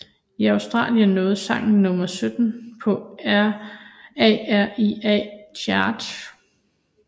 I Australien nåede sangen nummer 17 på ARIA Charts